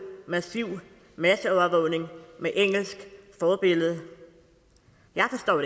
massiv masseovervågning med engelsk forbillede jeg forstår